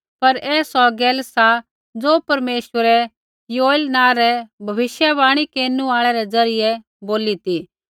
पर ऐ सौ गैल सा ज़ो परमेश्वरै योएल नाँ रै भविष्यवाणी केरनु आल़ै रै ज़रियै बोली ती